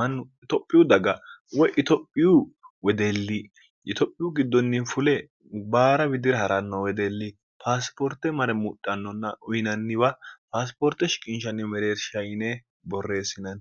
mannu itophiyu daga woy itophiyu wedeelli yitophiyu giddonni fule baara widira ha'ranno wedeelli paasipoorte mare muxhannonna uyinanniwa paasipoorte shiqinshanni mereersha yine borreessinanni